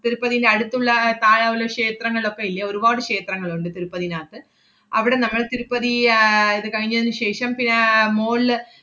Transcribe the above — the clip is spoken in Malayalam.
തിരുപ്പതീന്‍റെ അടുത്തുള്ള താഴെ ഉള്ള ക്ഷേത്രങ്ങളൊക്കെ ഇല്ലേ, ഒരുപാട് ക്ഷേത്രങ്ങളൊണ്ട് തിരുപ്പതിനാത്ത്. അവടെ നമ്മള്‍ തിരുപ്പതി ആഹ് ~ത് കഴിഞ്ഞതിനു ശേഷം പിന്നെ ആഹ് മോളില്,